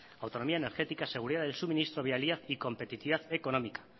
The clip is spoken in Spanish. autonomía energética seguridad del suministro viabilidad y competitividad económica